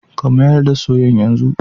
ka mayar da soyan yanzu